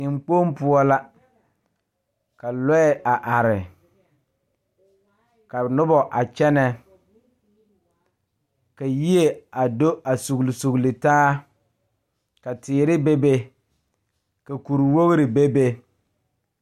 Tenkpoŋ poɔ la ka lɔɛ a are ka noba a kyɛnɛ ka yie a do a sugli sugli taa ka teere bebe ka kuriwogri bebe.